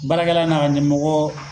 Baarakɛ la n'a ka ɲɛmɔgɔ